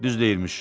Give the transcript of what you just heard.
Düz deyirmiş.